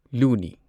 ꯂꯨꯅꯤ